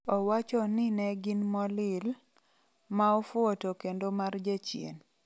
Owachoni negin "molill","maofuo" to kendo"mar jachien".